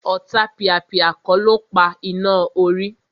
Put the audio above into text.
Ọ̀tapìàpìà kọ́ ló pa iná orí